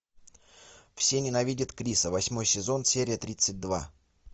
все ненавидят криса восьмой сезон серия тридцать два